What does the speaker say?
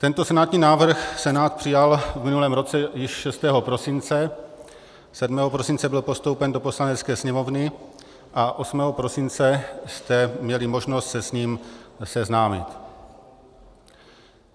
Tento senátní návrh Senát přijal v minulém roce již 6. prosince, 7. prosince byl postoupen do Poslanecké sněmovny a 8. prosince jste měli možnost se s ním seznámit.